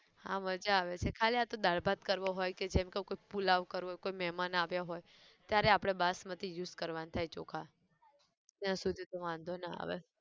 હા મઝા આવે છે ખાલી આતો દાળ ભાત કરવો હોય કે જેમ ક કોઈક પુલાવ કરવો હોય કોઈ મહેમાન આવ્યાં હોય, ત્યારે આપણે બાસમતી use કરવાન થાય ચોખા, ત્યાં સુધી તો વાંધો ના આવે